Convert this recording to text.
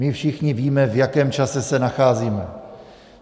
My všichni víme, v jakém čase se nacházíme.